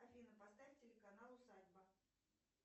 афина поставь телеканал усадьба